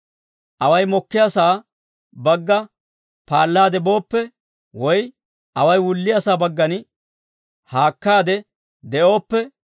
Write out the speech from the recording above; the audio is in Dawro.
Away mokkiyaasaa bagga paallaade booppe, woy away wulliyaasaa baggan haakkaade de'ooppe,